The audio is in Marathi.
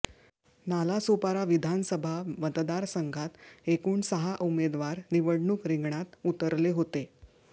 नालासोपारा विधानसभा मतदारसंघात एकूण सहा उमेदवार निवडणूक रिंगणात उतरले होते